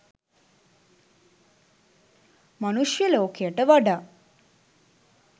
මනුෂ්‍ය ලෝකයට වඩා